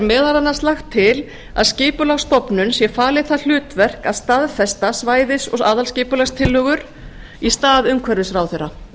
meðal annars lagt til að skipulagsstofnun sé falið það hlutverk að staðfesta svæðisaðalskipulagstillögur í stað umhverfisráðherra